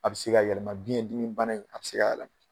A bɛ se ka yɛlɛma biɲɛndimi bana in, a bɛ se ka yɛlɛma.